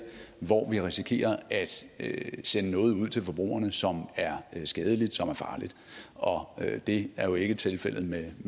hvor vi risikerer at sende noget ud til forbrugerne som er skadeligt og farligt og det er jo ikke tilfældet med